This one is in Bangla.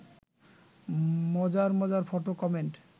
মজার মজার ফটো কমেন্ট